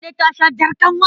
Kande ta sha jar kanwa.